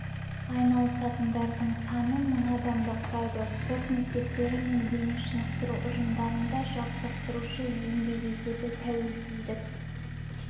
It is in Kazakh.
айналысатындардың саны мың адамды құрайды спорт мектептері мен дене шынықтыру ұжымдарында жаттықтырушы еңбек етеді тәуелсіздік